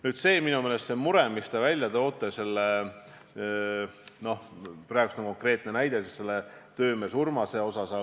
Nüüd, see mure, mis te välja tõite, see konkreetne töömees Urmase näide.